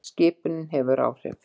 Skipunin hefur áhrif.